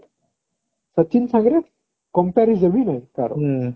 but Sachin ସାଙ୍ଗରେ comparison ବି ନାହିଁ ତାର